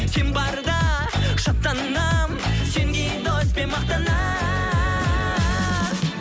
сен барда шаттанамын сендей доспен мақтанамын